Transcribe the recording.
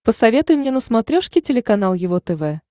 посоветуй мне на смотрешке телеканал его тв